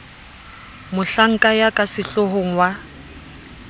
mohlanka ya ka sehloohong wa